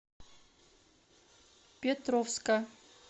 петровска